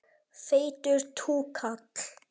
Feitur túkall.